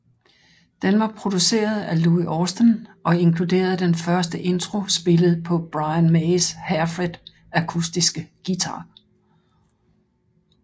Den var produceret af Louie Austin og inkluderede den første intro spillet på Brian Mays Hairfred akustiske guitar